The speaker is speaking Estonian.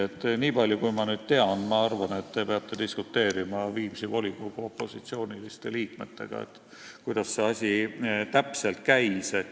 Selle põhjal, mida ma tean, ma arvan, et te peate diskuteerima Viimsi volikogu opositsiooniliste liikmetega, kuidas see asi täpselt käis.